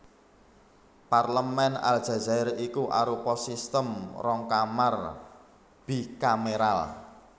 Parlemèn Aljazair iku arupa sistem rong kamar bikameral